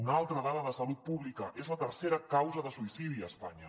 una altra dada de salut pública és la tercera causa de suïcidi a espanya